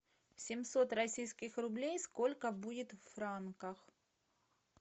семьсот российских рублей сколько будет в франках